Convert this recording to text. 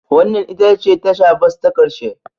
Wannan ita ce tasha bas ta ƙarshe